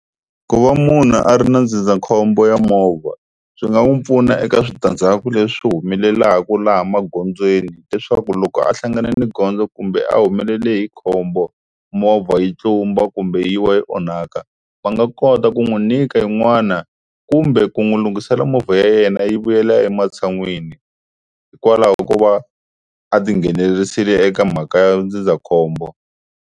Ku va munhu a ri na ndzindzakhombo wa movha swi nga n'wi pfuna eka switandzhaku leswi humelelaku laha magondzweni, leswaku loko a hlangane ni gondzo kumbe a humelele hi khombo movha yi tlumba kumbe yi wa yi onhaka. Va nga kota ku n'wi nyika yin'wana kumbe ku n'wi lunghisisela movha ya yena yi vuyela ematshan'wini hikwalaho ko va a tinghenelerisile eka mhaka ya ndzindzakhombo.